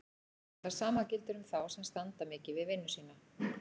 Það sama gildir um þá sem standa mikið við vinnu sína.